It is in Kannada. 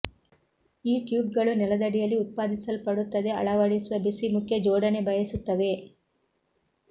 ಈ ಟ್ಯೂಬ್ಗಳು ನೆಲದಡಿಯಲ್ಲಿ ಉತ್ಪಾದಿಸಲ್ಪಡುತ್ತದೆ ಅಳವಡಿಸುವ ಬಿಸಿ ಮುಖ್ಯ ಜೋಡಣೆ ಬಯಸುತ್ತವೆ